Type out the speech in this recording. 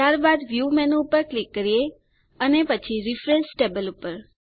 ત્યારબાદ view menu ઉપર click કરીએ અને પછી રિફ્રેશ ટેબલ્સ પર